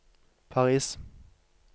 Paris